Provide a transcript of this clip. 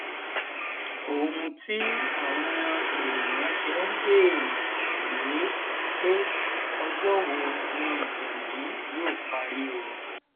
ohun tí àwọn àwọn èèyàn ṣe ń béèrè rèé pé ọjọ wo ni ìjà yìí yóò parí o